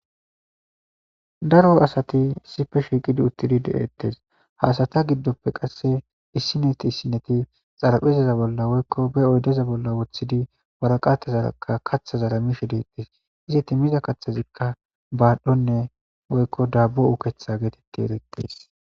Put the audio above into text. Daro asati sipe shiiqidi uttidi de'ettes haasata giddoppe qasse issineti issineti xaraphizaza bolla woykko be oydeza bolla woththidi waraqatazaaka katha zaramishe deettes izi timiza kathazikka baadhdhonne woykko daabo uketha geetetti ereqtees.